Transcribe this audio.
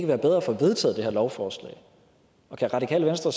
være bedre at få vedtaget det her lovforslag og kan radikale venstre